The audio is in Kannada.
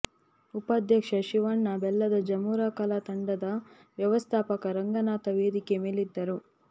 ಉಪಾಧ್ಯಕ್ಷ ಶಿವಣ್ಣ ಬೆಲ್ಲದ ಜಮುರಾ ಕಲಾ ತಂಡದ ವ್ಯವಸ್ಥಾಪಕ ರಂಗನಾಥ ವೇದಿಕೆ ಮೇಲಿದ್ದರು